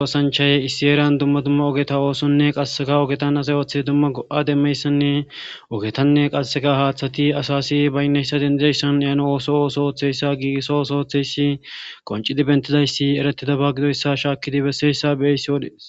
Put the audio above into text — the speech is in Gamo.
Oosanchaye issi eeran dumma dumma ogeta oosonne qasseka ogetan azay othe dumma go7a demmeyssanne ogetanne qasseka haaththati asasi baynneyssa dendideyssan iyano ooso ooso ooththeyssa giigisso oso ooththeyssi qoncidi bentidayssi eretidaba gidoyssa shaakkidi besseyssa be7eyssi wodees